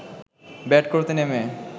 bat করতে নেমে